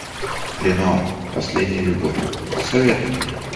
ренуар последняя любовь посоветуй мне